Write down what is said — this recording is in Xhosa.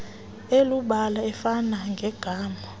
elubala ofana negama